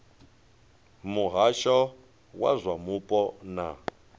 muhasho wa zwa mupo na